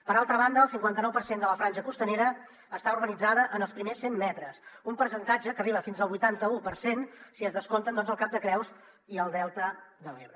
per altra banda el cinquanta nou per cent de la franja costanera està urbanitzada en els primers cent metres un percentatge que arriba fins al vuitanta u per cent si es descompten el cap de creus i el delta de l’ebre